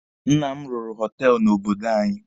Nna m rụrụ họtelụ n'obodo anyị.